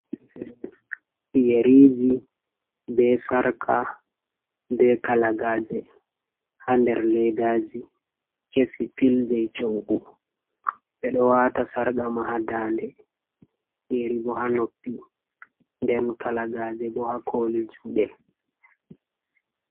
Yeriji be sarka be kalaagaje ha nder ledaji kesi pil jai shoggu ɓeɗo wata sarka ma ha da'nde yeri bo ha noppi den kalaagaje bo hakoli juɗe.